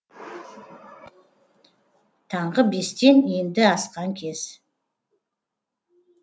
таңғы бестен енді асқан кез